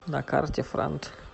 на карте франт